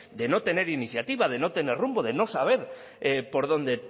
de no tener iniciativa de no tener rumbo de no saber por dónde